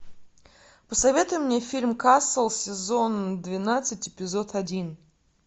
посоветуй мне фильм касл сезон двенадцать эпизод один